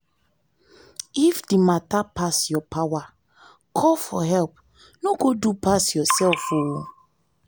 if di matter pass your power call for help no go do pass yourself o.